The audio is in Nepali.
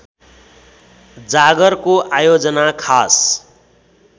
जागरको आयोजना खास